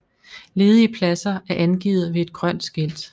Ledige pladser er angivet ved et grønt skilt